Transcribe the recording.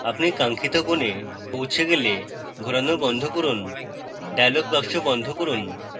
আপনি কাঙ্ক্ষিত কোণে পৌঁছে গেলে ঘোরানো বন্ধ করুন dialog box বন্ধ করুন